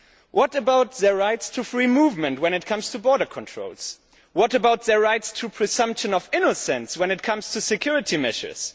What about the right to free movement when it comes to border controls? What about the right to the presumption of innocence when it comes to security measures?